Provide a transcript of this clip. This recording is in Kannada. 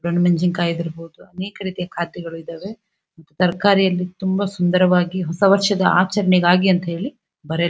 ದೋಣ್ಣ್ ಮೆಣಸಿನಕಾಯಿ ಇದ್ದಿರಬಹುದು ಅನೇಕ ರೀತಿಯ ಕಾದ್ಯಗಳು ಇದಾವೆ ತರಕಾರಿಯಲ್ಲಿ ತುಂಬಾ ಸುಂದರವಾಗಿ ಹೊಸ ವರ್ಷದ ಆಚರಣೆಗಾಗಿ ಅಂತ ಹೇಳಿ ಬರೆಯಲ್ಪಟ್ಟಿದೆ.